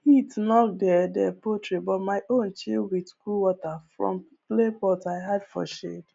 heat knock their their poultry but my own chill with cool water from clay pot i hide for shade